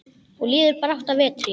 Og líður brátt að vetri.